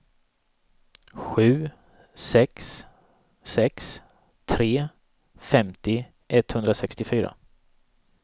sju sex sex tre femtio etthundrasextiofyra